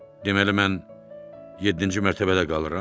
Deməli mən yeddinci mərtəbədə qalıram?